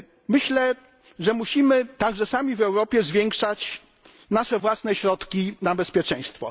Myślę, że musimy także sami w Europie zwiększać nasze własne środki na bezpieczeństwo.